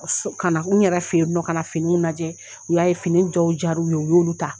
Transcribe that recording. Kɔsɔ Kana n yɛrɛ feye nɔ ka na finiw lajɛ u y'a ye fini jow jar'u ye u y'olu ta